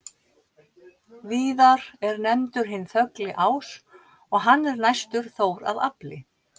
Víðar er nefndur hinn þögli ás og hann er næstur Þór að afli.